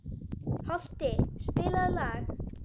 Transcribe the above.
Holti, spilaðu lag.